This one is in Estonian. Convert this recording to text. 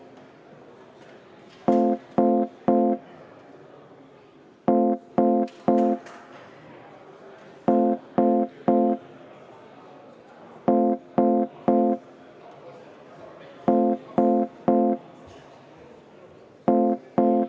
Hääletustulemused Avalduse poolt on 92 Riigikogu liiget, vastuolijaid ja erapooletuid ei ole.